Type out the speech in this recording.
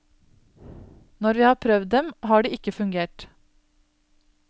Når vi har prøvd dem, har de ikke fungert.